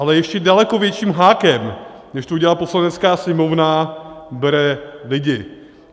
Ale ještě daleko větším hákem, než to udělala Poslanecká sněmovna, bere lidi.